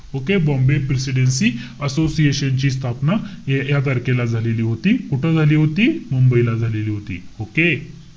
Okay? Bombay presidency असोसिएशनची स्थापना हे या तारखेला झालेली होती. कुठं झाली होती? मुंबईला झालेली होती. Okay?